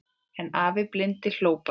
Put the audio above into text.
En afi blindi hló bara.